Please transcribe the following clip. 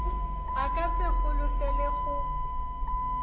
a ka se holofele go